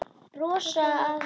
Brosa að mér!